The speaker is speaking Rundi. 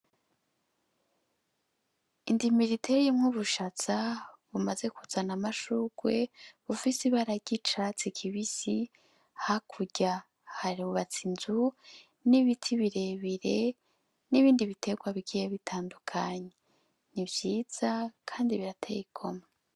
Indimiro iteyemwo ubushaza bimaze kuzana amashurwe bufise ibara ry’icatsi kibisi , hakurya harubatse inzu n’ibiti birebire n’ibindi biterwa bigiye bitandukanye . Ni vyiza Kandi birateye igomwe .